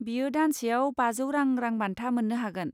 बियो दानसेयाव बाजौ रां रोंबान्था मोननो हागोन।